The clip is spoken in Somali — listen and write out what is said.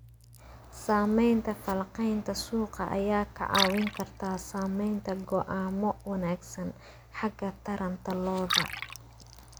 Samaynta falanqaynta suuqa ayaa kaa caawin karta samaynta go'aamo wanagsan xagga taranta lo'da.